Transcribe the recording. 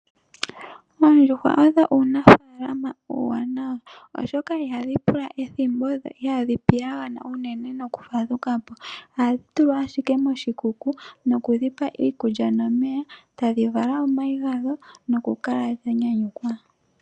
Oondjuhwa odho uunafaalama uuwanawa oshoka ihadhi pula ethimbo dho ihadhi piyagana unene nokufadhukapo, ohadhi tulwa ashike moshikuku nokudhipa iikulya nomeya tadhi vala omayi gadho noku kala dhanyanyukwa.